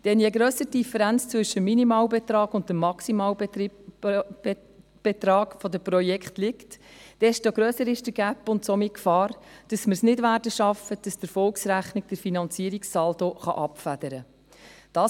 Denn je grösser die Differenz zwischen dem Minimalbetrag und dem Maximalbetrag der Projekte, desto grösser ist der Gap und somit die Gefahr, dass wir es nicht schaffen werden, dass die Erfolgsrechnung den Finanzierungssaldo abfedern kann.